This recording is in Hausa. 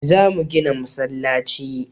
Za mu gina masallaci